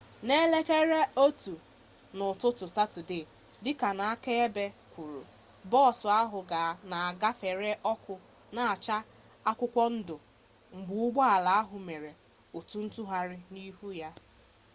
na elekere 1:15 nke ụtụtụ saturday dịka ndị akaebe kwuru bọọsụ ahụ na-agafere ọkụ na-acha akwụkwọ ndụ mgbe ụgbọ ala ahụ mere otu ntụgharị n'ihu ya